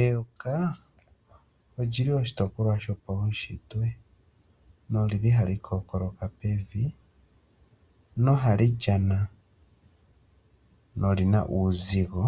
Eyoka olyi li oshitopolwa shopaushitwe noli li hali kookoloka pevi noha li lyana, noli na uuzigo